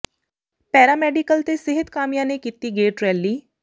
para medical ਤੇ ਸਿਹਤ ਕਾਮਿਆਂ ਨੇ ਕੀਤੀ ਗੇਟ ਰੈਲੀ